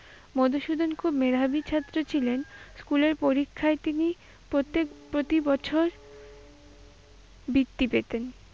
মধুসূদন খুব মেধাবী ছাত্র ছিলেন, স্কুলের পরীক্ষায় তিনি প্রত্যেক প্রতি বছর বৃত্তি পেতেন।